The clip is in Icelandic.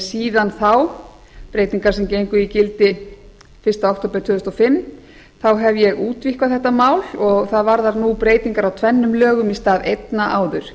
síðan þá breytingar sem gengu í gildi fyrsta október tvö þúsund og fimm hef ég útvíkkað þetta mál og það varðar nú breytingar á tvennum lögum í stað einna áður